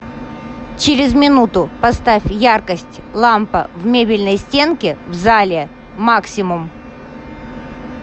через минуту поставь яркость лампа в мебельной стенке в зале максимум